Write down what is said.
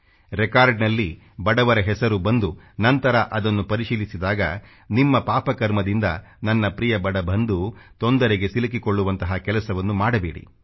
ರೆಕಾರ್ಡ್ನಲ್ಲಿ ಬಡವರ ಹೆಸರು ಬಂದು ಅದನ್ನು ನಂತರ ಪರಿಶೀಲಿಸಿದಾಗ ನಿಮ್ಮ ಪಾಪಕರ್ಮದಿಂದ ನನ್ನ ಪ್ರಿಯ ಬಡ ಬಂಧು ತೊಂದರೆಗೆ ಸಿಲುಕಿಕೊಳ್ಳುವಂತಹ ಕೆಲಸವನ್ನು ಮಾಡಬೇಡಿ